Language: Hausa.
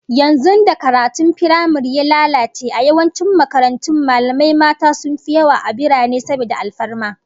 Yanzu da karatun firamare ya lalace, a yawancin makarantun, mallamai mata sun fi yawa a birane saboda alfarma